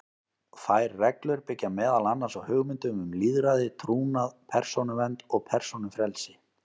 Þær reglur byggja meðal annars á hugmyndum um lýðræði, trúnað, persónuvernd og persónufrelsi.